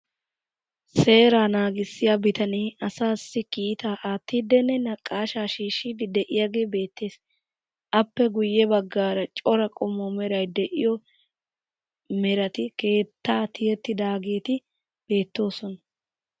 Seera naagissiya bitanee asaassi kiita aattiddinne naqaashshaa shiishshiiddi de'iyagee beettes. Appe guyye baggaara cora qommo meray de'iyo metati keettaa tiyettidaageeti beettoosona.